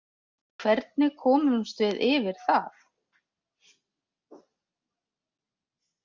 Hvernig komumst við yfir það?